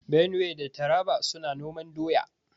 Benue da Taraba suna noman doya.